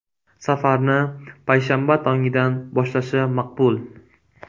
Safarni payshanba tongidan boshlashi maqbul.